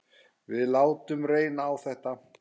Við látum reyna á þetta.